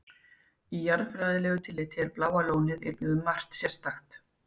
Í jarðfræðilegu tilliti er Bláa lónið einnig um margt sérstakt.